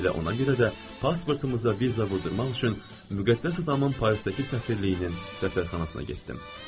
Elə ona görə də pasportumuza viza vurdurmaq üçün müqəddəs atamın Parisdəki səfirliyinin dəftərxanasına getdim.